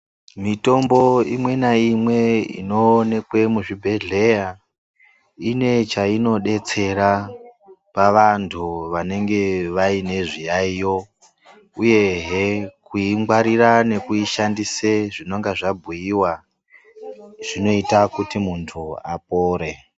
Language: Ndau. Mitombo imwe naimwe inoonekwe muzvibhehleya inechainodetsera pavanhu vanenge vaine zviyayiyo uyehe kuingwarira nekuishandise zvinonga zvabhuyiwa zvinoita kuti muntu apore.